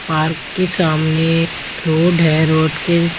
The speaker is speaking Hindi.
पार्क के सामने रोड है क रोड के--